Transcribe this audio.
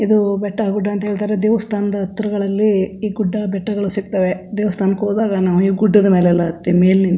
ಇದು ಬೆಟ್ಟ ಗುಡ್ಡ ಅಂತ ಹೇಳತ್ತರೆ ದೇವಸ್ಥಾನದ್ ಹತ್ರಗಳಲ್ಲಿ ಈ ಗುಡ್ಡಬೆಟ್ಟಗಳು ಸಿಗತ್ತವೆ ದೇವಸ್ಥಾನಕ್ಕೆ ಹೋದಾಗ ನಾವು ಈ ಗುಡ್ಡದ್ ಮೇಲೆಲ್ಲಾ ಹತ್ತಿ ಮೇಲ್ ನಿಂತು.